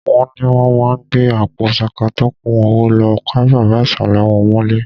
Wọ́n ni wọ́n máa gbé àpò ṣaka tó kún owó lọ ká bàbá ìsàlẹ̀ wọn mọ́lé